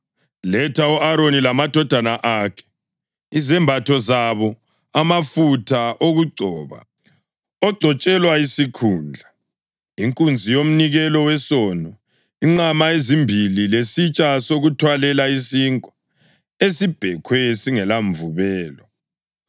“Letha u-Aroni lamadodana akhe, izembatho zabo, amafutha okugcoba ogcotshelwa isikhundla, inkunzi yomnikelo wesono, inqama ezimbili lesitsha sokuthwalela isinkwa esibhekhwe singelamvubelo,